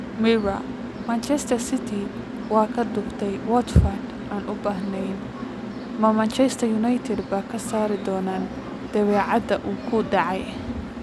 (Mirror) Manchester City waa kaa dhuftay Watford aan u baahnayn. Ma Manchester United baa ka saari doona dabeecadda uu ku dhacay?